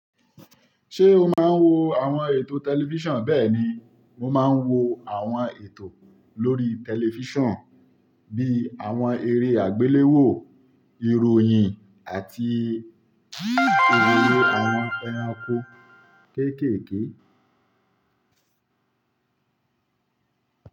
Ṣé o máa ń wo àwọn ètò tẹlifíṣàn? Bẹ́ẹ̀ni, mo máa ń wo àwọn ètò lórí tẹlifíṣàn bíi àwọn eré àgbéléwò, ìròyìn àti òròrò àwọn ẹranko kéékèèké.